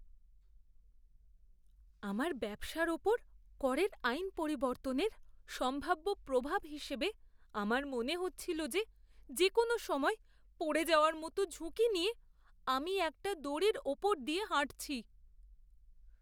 আমার ব্যবসার উপর করের আইন পরিবর্তনের সম্ভাব্য প্রভাব হিসেবে আমার মনে হচ্ছিল যে যেকোনও সময় পড়ে যাওয়ার মতো ঝুঁকি নিয়ে আমি একটা দড়ির উপর দিয়ে হাঁটছি।